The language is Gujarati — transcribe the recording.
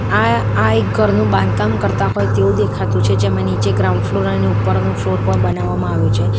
આ આ એક ઘરનું બાંધકામ કરતા હોય તેવું દેખાતું છે જેમાં નીચે ગ્રાઉન્ડ ફ્લોર અને ઉપરનો ફ્લોર પણ બનાવવામાં આવ્યો છે.